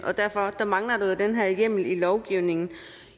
og derfor mangler den her hjemmel i lovgivningen